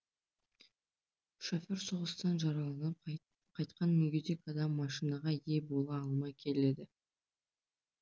шофер соғыстан жараланып қайтқан мүгедек адам машинаға ие бола алмай келеді